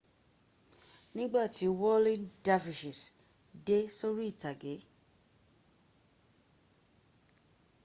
nígbà tí whirling dervishes dé sórí ìtàgé